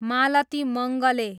Malti Mangale